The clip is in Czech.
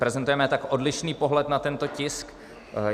Prezentujeme tak odlišný pohled na tento tisk.